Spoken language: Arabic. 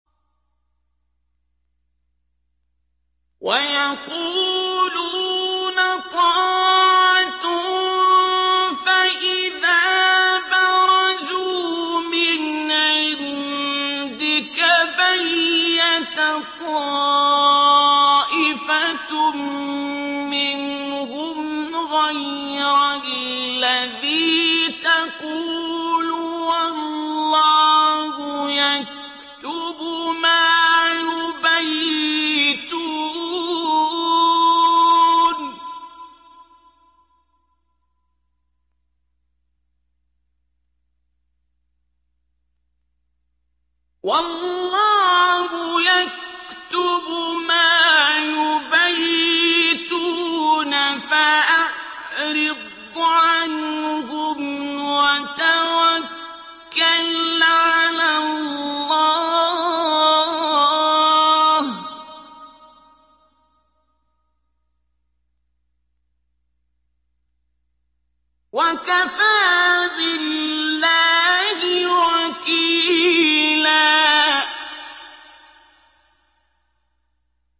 وَيَقُولُونَ طَاعَةٌ فَإِذَا بَرَزُوا مِنْ عِندِكَ بَيَّتَ طَائِفَةٌ مِّنْهُمْ غَيْرَ الَّذِي تَقُولُ ۖ وَاللَّهُ يَكْتُبُ مَا يُبَيِّتُونَ ۖ فَأَعْرِضْ عَنْهُمْ وَتَوَكَّلْ عَلَى اللَّهِ ۚ وَكَفَىٰ بِاللَّهِ وَكِيلًا